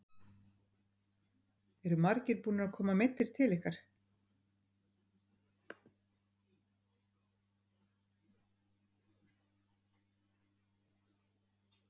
Eru margir búnir að koma meiddir til ykkar?